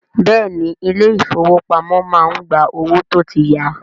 Bẹ́ẹ̀ni, ilé ìfọwọ́pamo má ń gba owó tó tí ya.